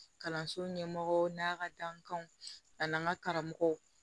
Kalanso ɲɛmɔgɔ n'a ka dankanw ani an ka karamɔgɔw